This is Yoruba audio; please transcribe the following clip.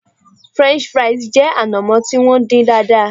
French fries jẹ anamo ti won din daadaa